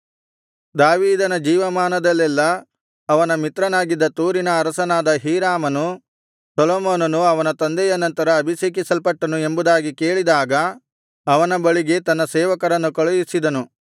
ದಾವೀದನ ಜೀವಮಾನದಲ್ಲೆಲ್ಲಾ ಅವನ ಮಿತ್ರನಾಗಿದ್ದ ತೂರಿನ ಅರಸನಾದ ಹೀರಾಮನು ಸೊಲೊಮೋನನು ಅವನ ತಂದೆಯ ನಂತರ ಅಭಿಷೇಕಿಸಲ್ಪಟ್ಟನು ಎಂಬುದಾಗಿ ಕೇಳಿದಾಗ ಅವನ ಬಳಿಗೆ ತನ್ನ ಸೇವಕರನ್ನು ಕಳುಹಿಸಿದನು